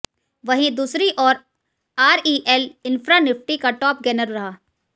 वहीं दूसरी ओर आरईएल इन्फ्रा निफ्टी का टॉप गेनर रहा